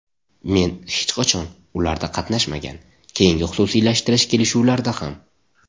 Men hech qachon ularda qatnashmagan, keyingi xususiylashtirish kelishuvlarida ham.